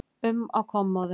um á kommóðu.